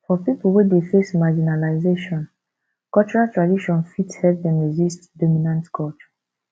for pipo wey dey face marginalization cultural tradition fit help dem resist dominant culture